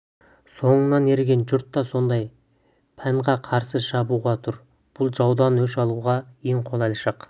соңыңнан ерген жұрт та сондай панға қарсы шабуға тұр бұл жаудан өш алуға ең қолайлы шақ